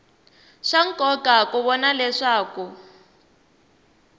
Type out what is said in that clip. swa nkoka ku vona leswaku